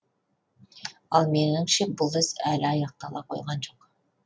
ал меніңше бұл іс әлі аяқтала қойған жоқ